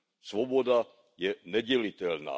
Svoboda je nedělitelná.